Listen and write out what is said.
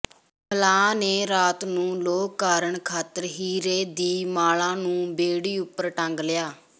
ਮਲਾਹ ਨੇ ਰਾਤ ਨੂੰ ਲੋਅ ਕਰਨ ਖ਼ਾਤਰ ਹੀਰੇ ਦੀ ਮਾਲਾ ਨੂੰ ਬੇੜੀ ਉਪਰ ਟੰਗ ਲਿਆ